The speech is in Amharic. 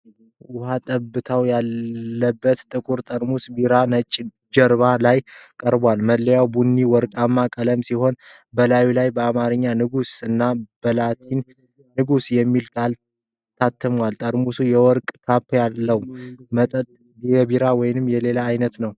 ውሃ ጠብታዎች ያሉበት ጥቁር ጠርሙስ ቢራ ነጭ ጀርባ ላይ ቀርቧል። መለያው ቡኒና ወርቃማ ቀለም ሲሆን በላዩ ላይ በአማርኛ "ንጉስ" እና በላቲን "NEGUS" የሚል ቃል ታትሟል። ጠርሙሱ የወርቅ ካፕ አለው። መጠጥ የቢራ ወይም የሌላ ዓይነት ነው?